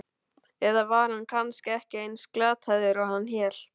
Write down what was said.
Eða var hann kannski ekki eins glataður og hann hélt?